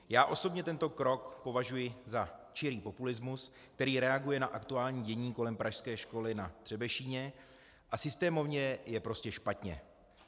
Já osobně tento krok považuji za čirý populismus, který reaguje na aktuální dění kolem pražské školy Na Třebešíně a systémově je prostě špatně.